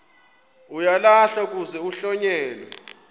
uyalahlwa kuze kuhlonyelwe